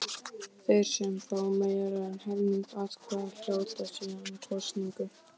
Þeir sem fá meira en helming atkvæða hljóta síðan kosningu.